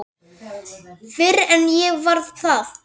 Fyrr en ég varð það.